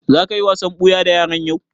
Za ka yi wasan ɓuya da yaran yau?